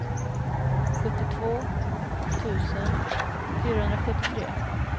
sjuttiotvå tusen fyrahundrasjuttiotre